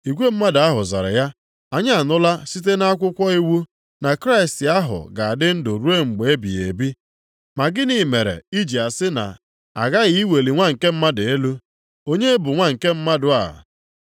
Igwe mmadụ ahụ zara ya, “Anyị anụla site nʼakwụkwọ iwu na Kraịst ahụ ga-adị ndụ ruo mgbe ebighị ebi. Ma gịnị mere i ji asị na, ‘A ghaghị iweli Nwa nke Mmadụ elu’? Onye bụ ‘Nwa nke mmadụ a’?”